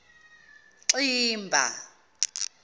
ximba